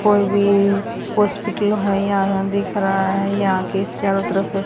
कोई भी हॉस्पिटल है यहां दिख रहा है यहां के चारों तरफ--